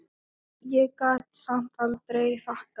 Ég gat samt aldrei þakkað